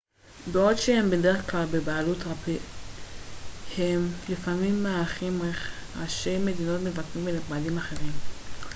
בעוד שהם בדרך כלל בבעלות פרטית הם לפעמים מארחים ראשי מדינות מבקרים ונכבדים אחרים